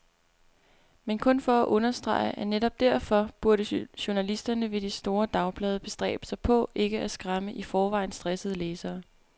Men kun for at understrege, at netop derfor burde journalisterne ved de store dagblade bestræbe sig på ikke at skræmme i forvejen stressede læsere.